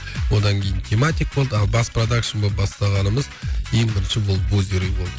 одан кейін тематик болды ал бас продакшн болып бастағанымыз ең бірінші ол вузеры болды